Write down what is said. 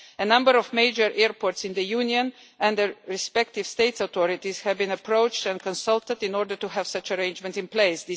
A number of major airports in the Union and their respective state's authorities has been approached and consulted, in order to have such an arrangement in place.